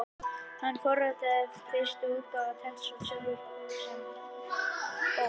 Hann forritaði fyrstu útgáfuna af TeX sjálfur og gaf forritið síðan út sem bók.